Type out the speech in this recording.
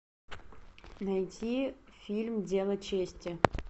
найти фильм дело чести